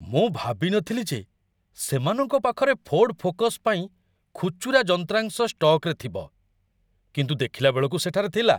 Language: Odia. ମୁଁ ଭାବି ନଥିଲି ଯେ ସେମାନଙ୍କ ପାଖରେ ଫୋର୍ଡ ଫୋକସ୍ ପାଇଁ ଖୁଚୁରା ଯନ୍ତ୍ରାଂଶ ଷ୍ଟକ୍‌ରେ ଥିବ, କିନ୍ତୁ ଦେଖିଲା ବେଳକୁ ସେଠାରେ ଥିଲା!